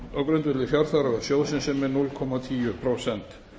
á grundvelli fjárþarfar sjóðsins sem er núll komma tíu prósent